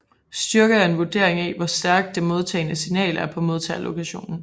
Styrke er en vurdering af hvor stærk det modtagne signal er på modtagerlokationen